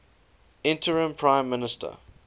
interim prime minister